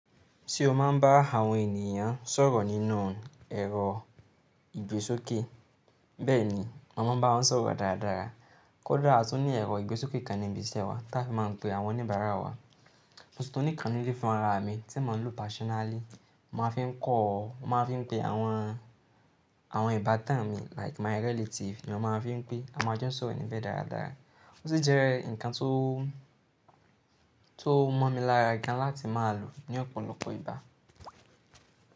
Ṣé o máa ń bá àwọn ènìyàn sọ̀rọ̀ nínú ẹ̀rọ ìgbésókè? Bẹ́ẹ̀ni, mo máa ń bá wọn sọ̀rọ̀ dáradára. Kódà a tún ní ẹ̀rọ ìgbésókè kan ní ibi iṣẹ́ wa tí a fi máa ń pe àwọn oníbàárà wa. Mo sì tún ní ìkàn nì lẹ̀ fún ara mi tí mon ń lo personally. Mo máa fi ń kọ̀ ọ́, mo máa fi ń pe àwọn, àwọn ìbátan mi like my relative mi ò ma fi ń pé, a máa n jọ sọ̀rọ̀ níbẹ̀ dáradára. Ó sì jẹ́ ǹkan tó, tó mọ́ mi lára gan láti máa lò ní ọ̀pọ̀lọpọ̀ ìgbá.